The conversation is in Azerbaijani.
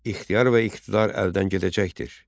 İxtiyar və iqtidar əldən gedəcəkdir.